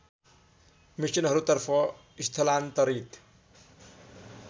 मिसनहरूतर्फ स्थलान्तरित